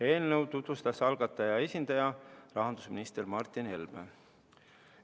Eelnõu tutvustas algataja esindaja, rahandusminister Martin Helme.